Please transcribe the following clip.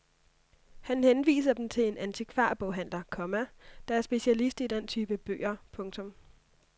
Han henviser dem til en antikvarboghandler, komma der er specialist i denne type bøger. punktum